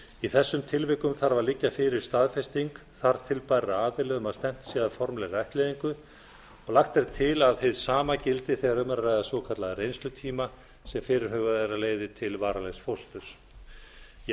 í þessum tilvikum þarf að liggja fyrir staðfesting þar til bærra aðila um að stefnt sé að formlegri ættleiðing lagt er til að hið sama gildi þegar um er að ræða svokallaðan reynslutíma sem fyrirhugað er að leiði til varanlegs fósturs ég